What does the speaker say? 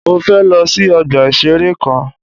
Mọ fẹ lọ sí ọgbà ìṣẹ̀rẹ́ kan.